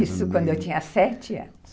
Isso, quando eu tinha sete anos.